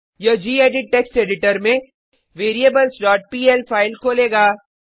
यह gedit text editor में variablesपीएल फाइल खोलेगा